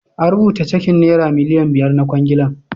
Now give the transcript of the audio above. A rubuta cekin nera miliyan biyar na kwangilar.